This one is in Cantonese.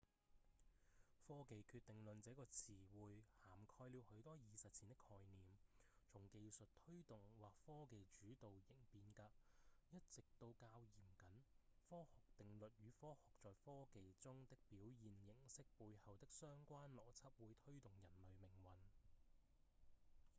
科技決定論這個詞彙涵蓋了許多已實踐的概念從技術推動或科技主導型變革一直到較嚴謹「科學定律與科學在科技中的表現形式背後的相關邏輯會推動人類命運」